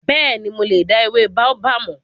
Bẹ́ẹ̀ni, mo dá ewé Baobab mọ̀.